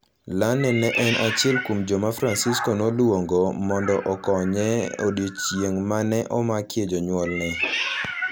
Lane ne en achiel kuom joma Francisco noluongo mondo okonye e odiechieng' ma ne omakie jonyuolne.